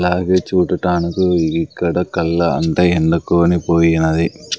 అలాగే చూడటానికి ఇక్కడ కల్లా అంత ఎండ కొనిపోయినది.